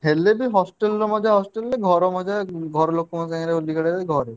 ହେଲେବି hostel ମଜା hostel ରେ ଘର ମଜା ଘର ଲୋକଙ୍କ ସାଙ୍ଗରେ